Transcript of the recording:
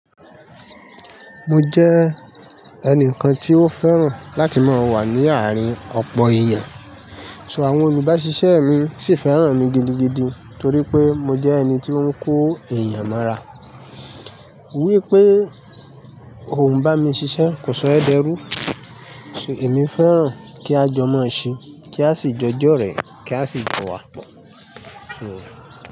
Mo jẹ́ ẹnìkan tí ó fẹ́ràn láti máa wà ní àárín ọ̀pọ̀ èèyàn, so àwọn oníbàáṣiṣẹ́ mi sì fẹ́ràn mi gidigidi torí pé mo jẹ́ ẹni tí ó ń kó èèyàn mọ́ra. Wípé o ò ń bá mi ṣiṣẹ́ kò sọ ẹ̀ dẹrú, so èmi fẹ́ràn kí a jọ mọ ṣe, kí a sì jọ jọrẹ̀, kí a sì jọ wàpọ̀.